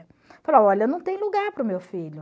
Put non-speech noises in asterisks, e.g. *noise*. *unintelligible* olha, não tem lugar para o meu filho.